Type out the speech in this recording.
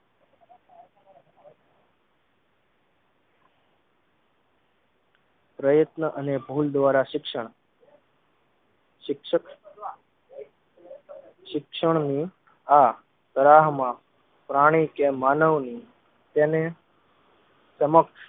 પ્રયત્ન અને ભૂલ દ્વારા શિક્ષણ શિક્ષક શિક્ષણ નું આ તરાહમાં પ્રાણી કે માનવ ની તેને સમકક્ષ